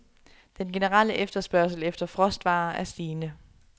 Den generelle efterspørgsel efter frostvarer er stigende.